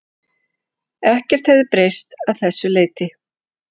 Ekkert hefði breyst að þessu leyti